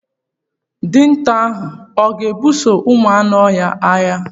Dinta ahụ ọ ga ebuso ụmụ anụ ọhịa agha?